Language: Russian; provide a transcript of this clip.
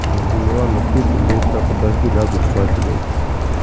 да милана хуй с ним до утра подожду лягу спать блять